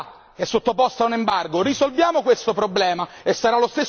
È un popolo ridotto in miseria, in povertà, è sottoposto a un embargo.